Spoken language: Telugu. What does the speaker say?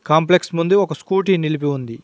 కాంప్లెక్స్ ముందు ఒక స్కూటీ నిలిపి ఉంది.